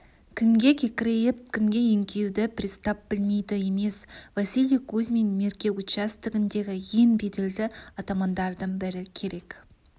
кімге кекірейіп кімге еңкеюді пристав білмейді емес василий кузьмин мерке участогіндегі ең беделді атамандардың бірі керек